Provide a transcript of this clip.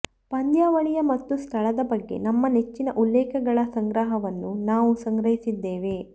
ಪಂದ್ಯಾವಳಿಯ ಮತ್ತು ಸ್ಥಳದ ಬಗ್ಗೆ ನಮ್ಮ ನೆಚ್ಚಿನ ಉಲ್ಲೇಖಗಳ ಸಂಗ್ರಹವನ್ನು ನಾವು ಸಂಗ್ರಹಿಸಿದ್ದೇವೆ